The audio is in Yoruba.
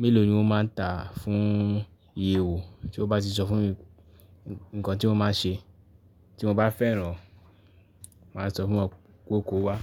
mélòó ni wọ́n máa ń tà fún iye owọ̀. Tí wọ́n bá ti sọ fún mi, nǹkan tí wọ́n máa ṣe tí mo bá fẹ́ràn, màá sọ fún wọn kó kó wá.